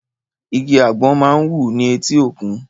Igi àgbọ̀n máa ń wù ni eti òkun